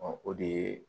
Ɔ o de ye